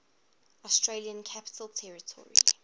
australian capital territory